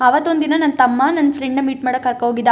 ಅವತ್ತು ಒಂದು ದಿನ ನನ್ ತಮ್ಮ ನನ್ ಫ್ರೆಂಡ್ ನ ಮೀಟ್ ಮಾಡೋಕೆ ಕರ್ಕೊ ಹೋಗಿದ್ದ.